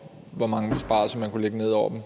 hvor mange besparelser man kunne lægge ned over